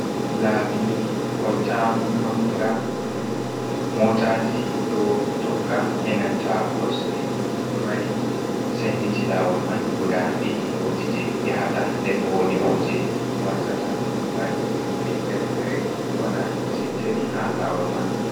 Laabi Kolta Manga: Motaji ɗo tokka e'nanta kosɗe. Ɗo mari senditi lawol man guda ɗiɗi. Wodi je yahata den wodi bo je wartata. Motaji nonde fere-fere ɗo waɗa sentiri ha lawol man.